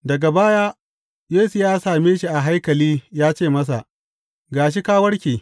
Daga baya Yesu ya same shi a haikali ya ce masa, Ga shi, ka warke.